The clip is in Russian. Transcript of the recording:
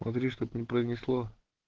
смотри чтоб не пронесло